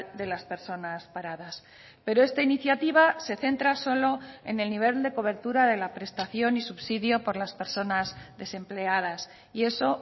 de las personas paradas pero esta iniciativa se centra solo en el nivel de cobertura de la prestación y subsidio por las personas desempleadas y eso